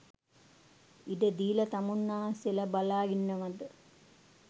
ඉඩ දීලා තමුන්නාන්සේලා බලා ඉන්නවාද?